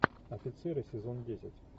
офицеры сезон десять